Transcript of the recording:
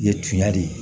Ye tunya de ye